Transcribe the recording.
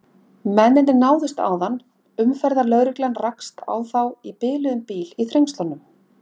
Lautinantinum varð hverft við, fleygði kústinum frá sér og steig krampakenndan dans frá upptökum dembunnar.